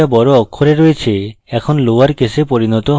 hello the বড় অক্ষরে রয়েছে এখন লোয়ার কেসে পরিণত হবে